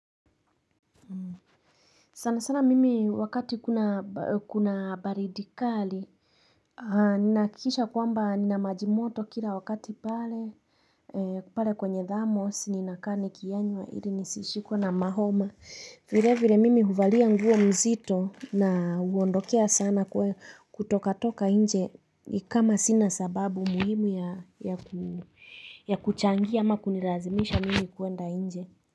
Sana sana mimi wakati kuna baridi kali Ninahakikisha kwamba nina maji moto kila wakati pale kwenye thermos nina kaa nikiyanywa ili nisishikwe na mahoma vile vile mimi huvalia nguo mzito na huondokea sana kutoka toka nje kama sina sababu muhimu ya kuchangia ama kunilazimisha mimi kuenda inje.